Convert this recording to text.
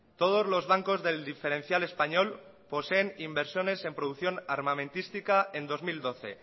todos los bancos del diferencial español poseen inversiones en producción armamentística en dos mil doce